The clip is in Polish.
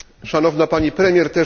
Szanowna Pani Premier!